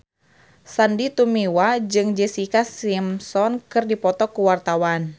Sandy Tumiwa jeung Jessica Simpson keur dipoto ku wartawan